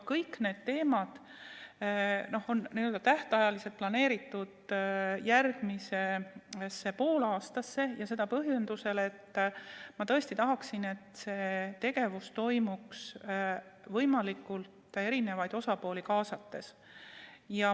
Kõik need teemad on planeeritud järgmisse poolaastasse ja seda põhjendusel, et ma tõesti tahan, et see tegevus toimuks võimalikult paljusid osapooli kaasates.